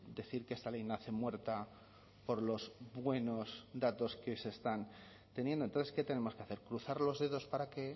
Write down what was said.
decir que esta ley nace muerta por los buenos datos que se están teniendo entonces qué tenemos que hacer cruzar los dedos para que